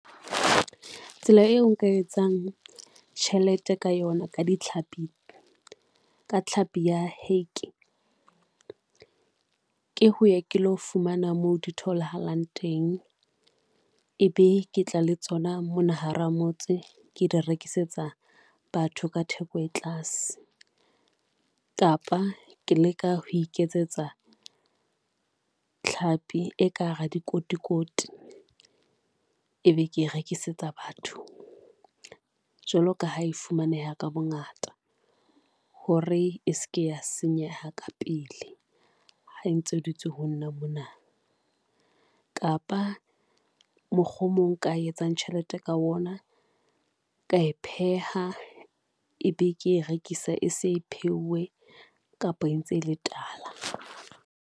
Tsela eo nka etsang tjhelete ka yona ka ditlhapi, ka tlhapi ya hake ke ho ya ke lo fumana mo di tholahalang teng, ebe ke tla le tsona mona hara motse, ke di rekisetsa batho ka theko e tlase kapa ke leka ho iketsetsa thlapi e ka hara dikotikoti e be ke e rekisetsa batho. Jwalo ka ha e fumaneha ka bongata hore e se ke ya senyeha ka pele ha ntse e dutse ho nna mona, kapa mokgo o mong nka etsang tjhelete ka ona ka e pheha, e be ke e rekisa e se pheuwe kapa e ntse le tala.